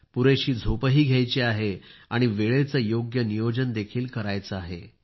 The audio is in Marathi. तसेच पुरेशी झोप घ्यायची आहे आणि वेळेचे योग्य नियोजन देखील कार्याचे आहे